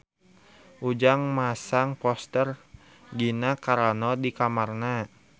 Ujang masang poster Gina Carano di kamarna